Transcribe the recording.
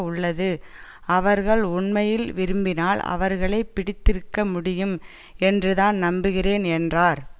உள்ளது அவர்கள் உண்மையில் விரும்பினால் அவர்களை பிடித்திருக்க முடியும் என்றுதான் நம்புகிறேன் என்றார்